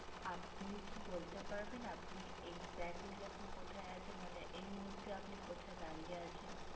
আপনি কি বলবেন পারবেন আপনি acjectly এখন কোথায় আছেন মানে এই মুহূর্তে কোথায় দাঁড়িয়ে আসেন